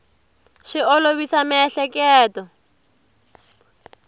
swi olovisa miehleketo